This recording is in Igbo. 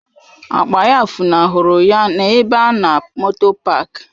Akpa ya funahụrụ ya n'ebe a na moto paak.